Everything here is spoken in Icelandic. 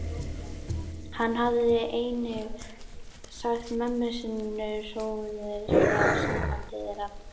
Hann hafði einnig sagt mömmu sinni hróðugur frá sambandi þeirra